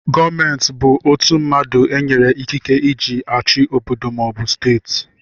Gọọmenti bụ ọtu mmadụ enyere ikike eji achị obodo maọbu steeti.